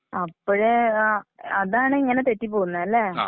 അപ്പോഴേ ആ അതാണിങ്ങനെ തെറ്റിപോവുന്നെല്ലേ?